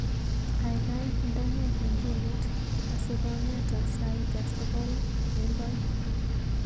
Gaigai indene kengelet asigongeta saita sogol kemboi